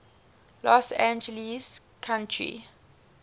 los angeles county